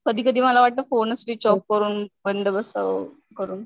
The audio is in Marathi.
कधी कधी मला वाटत फोनच स्विच ऑफ करून बंद बसावं करून.